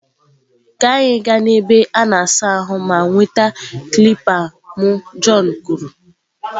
Ka anyị gaa na ebe a na-asa ahụ ma nweta kilipa m john kwuru.